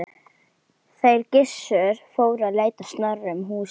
Þeir Gissur fóru að leita Snorra um húsin.